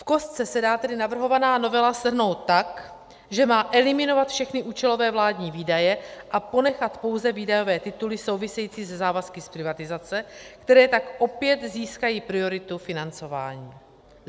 V kostce se dá tedy navrhovaná novela shrnout tak, že má eliminovat všechny účelové vládní výdaje a ponechat pouze výdajové tituly související se závazky z privatizace, které tak opět získají prioritu financování.